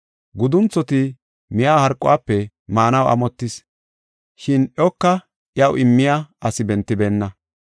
Gudunthoti miya harquwafe maanaw amottis, shin iyoka iyaw immiya asi bentibeenna.